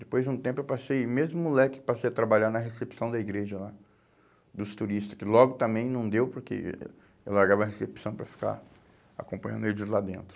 Depois de um tempo eu passei, mesmo moleque, passei a trabalhar na recepção da igreja lá, dos turistas, que logo também não deu porque eu largava a recepção para ficar acompanhando eles lá dentro.